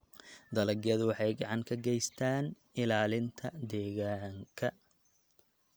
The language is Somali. Dalagyadu waxay gacan ka geystaan ??ilaalinta deegaanka